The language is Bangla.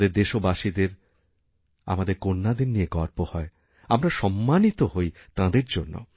আমাদের দেশবাসীদের আমাদেরকন্যাদের নিয়ে গর্ব হয় আমরা সম্মানিত হই তাঁদের জন্য